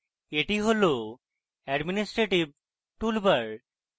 এটি হল administrative toolbar